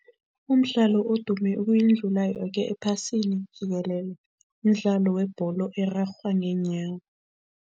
Umdlalo odume ukuyidlula yoke ephasini jikelele, mdlalo webholo erarhwa ngeenyawo.